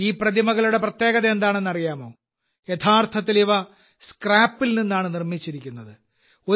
ഈ പ്രതിമകളുടെ പ്രത്യേകത എന്താണെന്ന് അറിയാമോ യഥാർത്ഥത്തിൽ ഇവ സ്ക്രാപ്പിൽ നിന്നാണ് നിർമ്മിച്ചിരിക്കുന്നത്